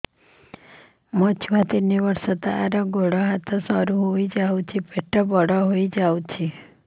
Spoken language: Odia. ମୋ ଛୁଆ ତିନି ବର୍ଷ ତାର ଗୋଡ ହାତ ସରୁ ହୋଇଯାଉଛି ପେଟ ବଡ ହୋଇ ଯାଉଛି